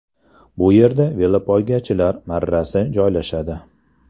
Bu yerda velopoygachilar marrasi joylashadi.